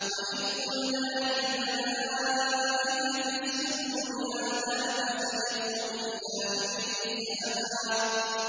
وَإِذْ قُلْنَا لِلْمَلَائِكَةِ اسْجُدُوا لِآدَمَ فَسَجَدُوا إِلَّا إِبْلِيسَ أَبَىٰ